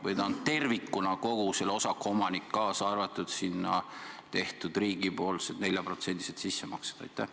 Või on ta siiski tervikuna kogu selle osaku omanik, kaasa arvatud riigipoolsed 4%-lised sissemaksed?